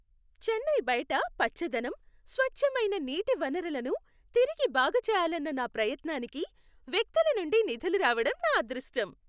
చెన్నై బయట పచ్చదనం, స్వచ్ఛమైన నీటి వనరులను తిరిగి బాగుచేయాలన్న నా ప్రయత్నానికి వ్యక్తుల నుండి నిధులు రావడం నా అదృష్టం.